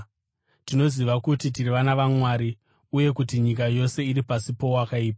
Tinoziva kuti tiri vana vaMwari, uye kuti nyika yose iri pasi powakaipa.